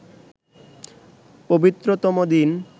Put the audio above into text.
পবিত্রতম দিন